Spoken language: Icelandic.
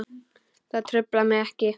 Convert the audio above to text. Það truflar mig ekki.